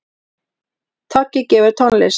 Toggi gefur tónlist